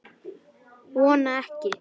Að þetta var daginn áður.